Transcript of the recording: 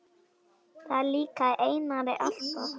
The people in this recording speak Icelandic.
Það líkaði Einari alltaf.